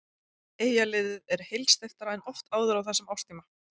Eyjaliðið er heilsteyptara en oft áður á þessum árstíma.